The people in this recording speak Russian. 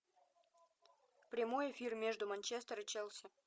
прямой эфир между манчестер и челси